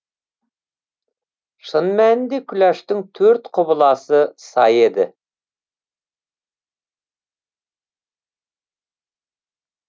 шын мәнінде күләштің төрт құбыласы сай еді